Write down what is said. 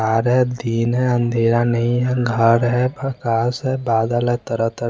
अरे दिन है अँधेरा नही है घर है प्रकाश है बादल है तरह तरह--